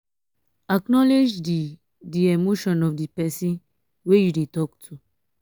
acknowlege di di emotion of di person wey you dey talk to